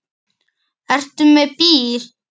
Jóhann: Ertu með bíl?